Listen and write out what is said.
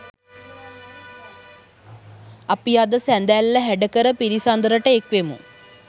අපි අද සඳැල්ල හැඩකර පිළිසඳරට එක්වෙමු